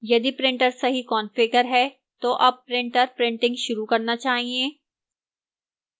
यदि printer सही configure है तो अब printer printing शुरू करना चाहिए